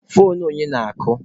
Foonu onye na-akụ?